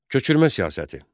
Köçürmə siyasəti.